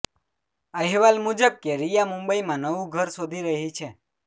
અહેવાલ મુજબ કે રિયા મુંબઈમાં નવું ઘર શોધી રહી છે